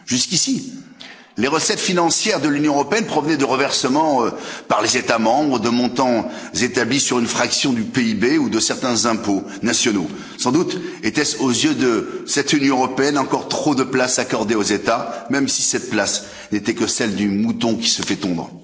Jusqu'ici, les recettes financières de l'Union européenne provenaient de reversements, par les États membres, de montants établis sur une fraction du PIB ou de certains impôts nationaux sans doute était ce, aux yeux de cette Union européenne, encore trop de place accordée aux États, même si cette place n'était que celle du mouton qui se fait tondre.